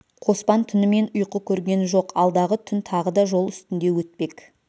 қоспан түнімен ұйқы көрген жоқ алдағы түн тағы да жол үстінде өтпек